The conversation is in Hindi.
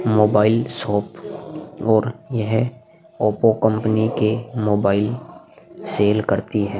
मोबाइल शॉप और यह ओप्पो कंपनी के मोबाइल सेल करती है।